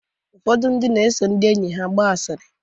Ụfọdụ ndị na-eso ndị enyi ha agba asịrị.